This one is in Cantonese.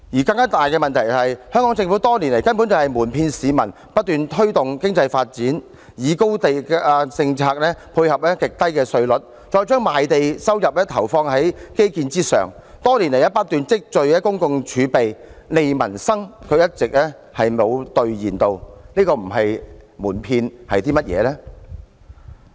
更大問題是，香港政府多年來一直瞞騙市民，不斷推動經濟發展，以高地價政策配合極低稅率，將賣地收入投放在基建之上，多年來不斷積聚公共儲備，"利民生"卻一直未有兌現，這不是瞞騙是甚麼？